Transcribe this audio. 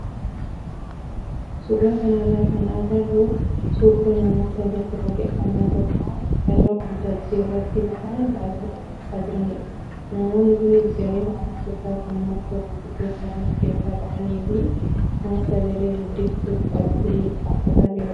Suuraa kanarraa kan agarru suuraa namoota bakka waaqeffannaa tokko irra waltajjii iraatti bahuun faarfataa jiranidha. Namoonni kunis garee faarfattootaa kan namoota gurguddoo ta'an of keessaa qabanii fi nama sagalee guddiftuu qabatee faarfataa jirudha.